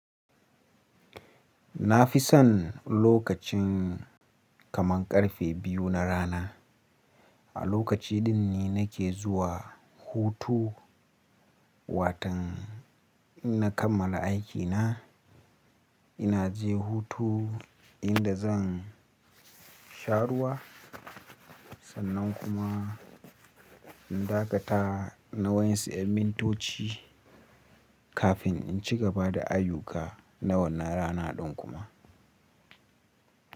Na fi son lokacin kaman karfe biyu na rana. A lokaci din ne nake zuwa hutu. Watan in na kammala aikina, ina je hutu inda zan sharuwa sannan kuma in dakata na wain si'amin tochi kafin in cigaba da ayuka na wannan rana din kuma.